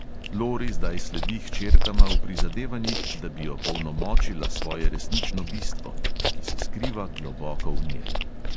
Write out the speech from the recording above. Lori zdaj sledi hčerkama v prizadevanjih, da bi opolnomočila svoje resnično bistvo, ki se skriva globoko v njej.